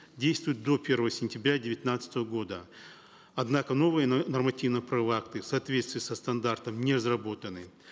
действуют до первого сентября девятнадцатого года однако новые нормативно правовые акты в соответствии со стандартом не разработаны